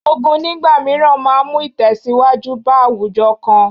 Ogun nígbà mìíràn máa mú ìtẹ̀síwájú bá àwùjọ kan